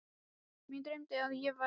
Mig dreymdi að ég væri einn.